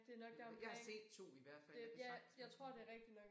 Eller jeg har set 2 i hvert fald der kan sagtens være flere